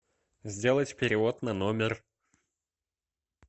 сделать перевод на номер